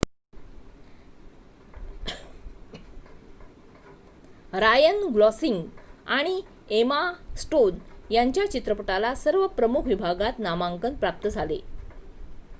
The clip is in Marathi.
रायन गॉस्लिंग आणि एमा स्टोन यांच्या चित्रपटाला सर्व प्रमुख विभागात नामांकन प्राप्त झाले